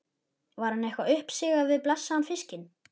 Var henni eitthvað uppsigað við blessaðan fiskinn?